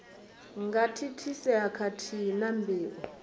nga thithisea khathihi na mbeu